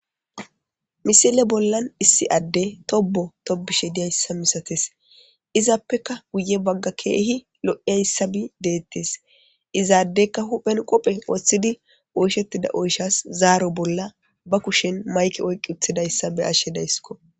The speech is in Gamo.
misile bollan issi adde tobo tobishe diyayssa misates izaappeka guye bagga keehi lo7iyayssabi deettes izaaddeyka huphen qophe wooththidi oyshettida oyshas zaaro bolla ba kushen mayke oykqi uthidayssa be ashshe dayskko